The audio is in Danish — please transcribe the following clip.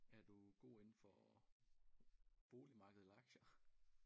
Er du god indenfor boligmarked eller aktier?